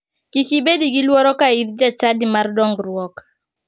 Kik ibedi gi luoro ka in jachadi mar dongruok.